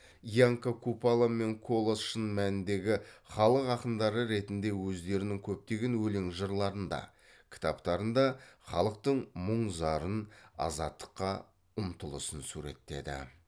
янка купала мен колас шын мәніндегі халық ақындары ретінде өздерінің көптеген өлең жырларында кітаптарында халықтың мұң зарын азаттыққа ұмтылысын суреттеді